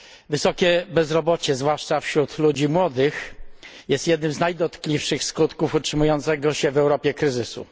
Wysokie bezrobocie, zwłaszcza wśród ludzi młodych, jest jednym z najdotkliwszych skutków utrzymującego się w Europie kryzysu.